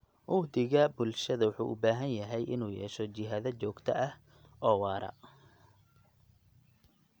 Uhdhigga bulshada wuxuu u baahan yahay in uu yeesho jihada joogtada ah oo waara.